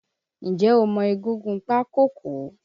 N jẹ́ o mọ egúngún Pákọ̀kọ̀?